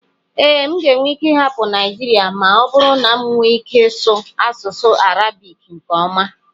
ee, m ga-ahapụ Naijiria ma ọ bụrụ na m nwee ike ịsụ asụsụ Arabic nke ọma